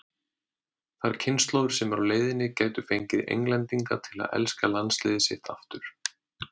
Þær kynslóðir sem eru á leiðinni gætu fengið Englendinga til að elska landsliðið sitt aftur.